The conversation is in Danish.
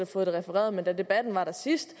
fået det refereret men da debatten var der sidst